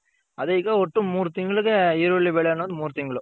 ಅದೆ ಈಗ ಒಟ್ಟು ಮೂರ್ ತಿಂಗಲ್ಗೆ ಈರುಳ್ಳಿ ಬೆಳೆ ಅನ್ನೋದ್ ಮೂರ್ ತಿಂಗ್ಳು.